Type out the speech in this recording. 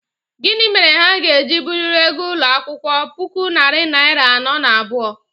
gini mere ha ga-eji buliri ego ulo akwukwo, puku naira nari ano na abuo?